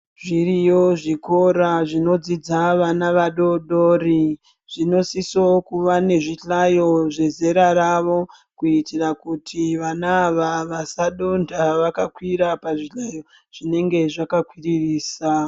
Zviriyo zvikora zvinodzidza vana vadodori, zvinosiso kuva nezvihlayo zvezera ravo kuitira kuti vana ava vasadontha vakakwira pazvihlayo zvinenge zvakakwirisa.